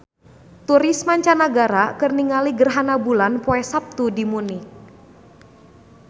Turis mancanagara keur ningali gerhana bulan poe Saptu di Munich